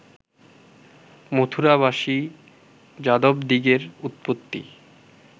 মথুরাবাসী যাদবদিগের উৎপত্তি